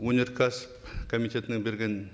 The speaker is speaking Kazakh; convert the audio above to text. өнеркәсіп комитетінің берген